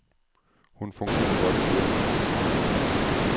Hun fungerer godt i firmaet.